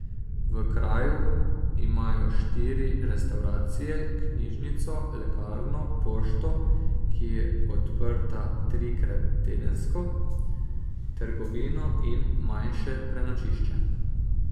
V kraju imajo štiri restavracije, knjižnico, lekarno, pošto, ki je odprta trikrat tedensko, trgovino in manjše prenočišče.